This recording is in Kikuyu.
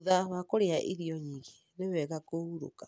Thutha wa kũrĩa irio nyingĩ nĩ wega kũhurũka.